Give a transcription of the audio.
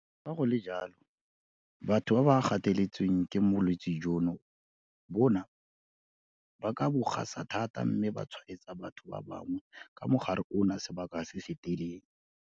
Fa go le jalo, batho ba ba gateletsweng ke bolwetse jono bona ba ka bo gasa thata mme ba ka tshwaetsa batho ba bangwe ka mogare ono sebaka se se telele.